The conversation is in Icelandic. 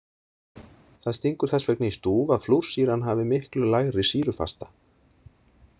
Það stingur þess vegna í stúf að flúrsýran hafi miklu lægri sýrufasta.